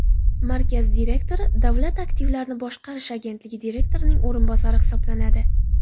Markaz direktori Davlat aktivlarini boshqarish agentligi direktorining o‘rinbosari hisoblanadi.